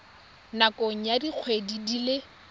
nakong ya dikgwedi di le